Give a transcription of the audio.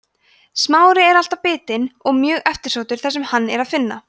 smári er alltaf bitinn og mjög eftirsóttur þar sem hann er að finna